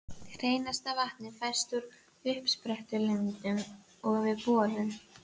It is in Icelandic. Hreinasta vatnið fæst úr uppsprettulindum og við borun.